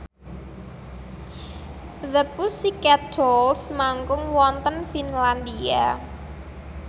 The Pussycat Dolls manggung wonten Finlandia